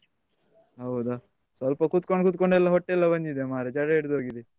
ಹೌದಾ ಸ್ವಲ್ಪ ಕುತ್ಕೊಂಡು ಕುತ್ಕೊಂಡೆಲ್ಲಾ ಹೊಟ್ಟೆ ಎಲ್ಲ ಬಂದಿದೆ ಮಾರೆ ಜಡ ಹಿಡಿದು ಹೋಗಿದೆ.